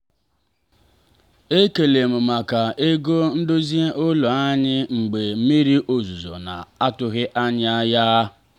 ekele m maka ego ndozi ụlọ anyị mgbe mmiri ozuzo na-atụghị anya ya.